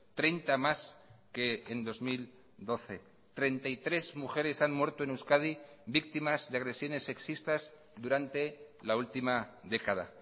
treinta más que en dos mil doce treinta y tres mujeres han muerto en euskadi víctimas de agresiones sexistas durante la última década